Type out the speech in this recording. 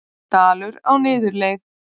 Dalur á niðurleið